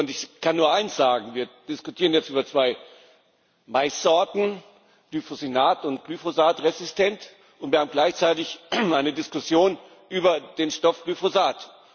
Ich kann nur eines sagen Wir diskutieren jetzt über zwei Maissorten, Glufosinat und Glyphosat resistent, und wir haben gleichzeitig immer eine Diskussion über den Stoff Glyphosat.